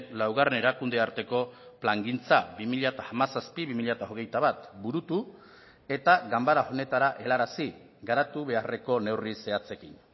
laugarren erakunde arteko plangintza bi mila hamazazpi bi mila hogeita bat burutu eta ganbara honetara helarazi garatu beharreko neurri zehatzekin